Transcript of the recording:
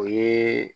O ye